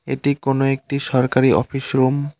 এটি কোন একটি সরকারি অফিস রুম ।